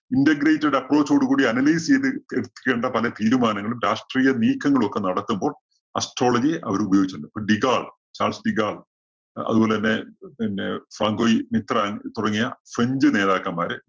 integrated approaoch ഓടു കൂടി analyse ചെയ്ത് എടുപ്പിക്കേണ്ട പല തീരുമാനങ്ങളും രാഷ്ട്രീയ നീക്കങ്ങളൊക്കെ നടത്തുമ്പോള്‍ astrology യെ അവര് ഉപയോഗിച്ചിട്ടുണ്ട്. അപ്പോ ഡിഗാള്‍ ചാള്‍സ് ഡിഗാള്‍, അതുപോലെ തന്നെ പിന്നെ ഫങ്കുലി മിത്ര തുടങ്ങിയ french നേതാക്കന്മാര്